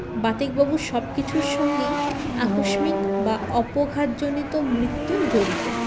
বাতিক বাবুর সবকিছুর সঙ্গেই আকস্মিক বা অপঘাতযনিত মৃত্যু জড়িত